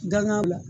Danga la